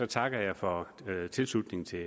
takker jeg for tilslutningen til